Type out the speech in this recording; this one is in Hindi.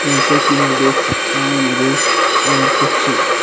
जैसे कि मैं देख सकता हूं मुझे और कुछ--